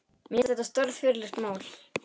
Mér finnst þetta stórfurðulegt mál